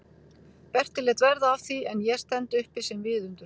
Berti lét verða af því en ég stend uppi sem viðundur?